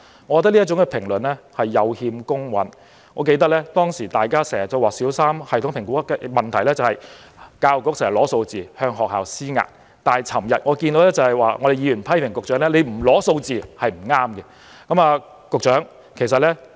我認為這評論有欠公允，我記得以前大家經常說小三全港性系統評估的問題是教育局經常索取數字，向學校施壓，但昨天議員卻批評局長不索取數字是不正確的。